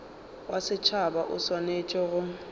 wa setšhaba o swanetše go